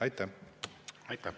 Aitäh!